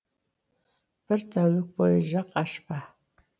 бір тәулік бойы жақ ашпа